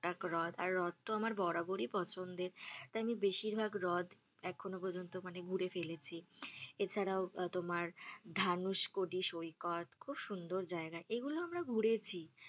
এক রথ আর রথ তো আমার বরাবর পছন্দের। তাই আমি বেশির ভাগ রথ এ্রখনো পর্যন্ত মানে ঘুরে ফেলেছি এছাড়াও তোমার ধানুশকোটি সইকত খুব সুন্দর জায়গা। এগুলো আমরা ঘুরেছি,